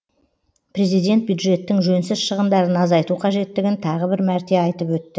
президент бюджеттің жөнсіз шығындарын азайту қажеттігін тағы бір мәрте айтып өтті